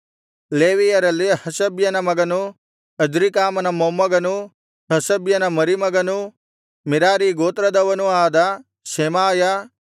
ಲೇವಿಯರಲ್ಲಿ ಹಷಬ್ಯನ ಮಗನೂ ಅಜ್ರೀಕಾಮನ ಮೊಮ್ಮಗನೂ ಹಷಬ್ಯನ ಮರಿಮಗನೂ ಮೆರಾರೀ ಗೋತ್ರದವನೂ ಆದ ಶೆಮಾಯ